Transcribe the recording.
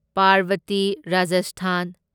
Parbati Rajasthan